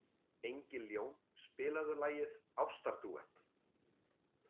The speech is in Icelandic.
Engiljón, spilaðu lagið „Ástardúett“.